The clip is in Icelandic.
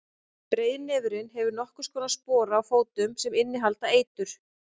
breiðnefurinn hefur nokkurs konar spora á fótunum sem innihalda eitur